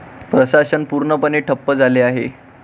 प्रशासन पूर्णपणे ठप्प झाले आहे.